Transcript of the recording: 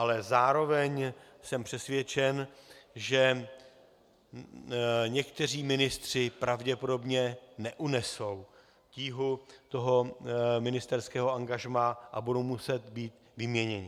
Ale zároveň jsem přesvědčen, že někteří ministři pravděpodobně neunesou tíhu toho ministerského angažmá a budou muset být vyměněni.